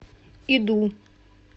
иду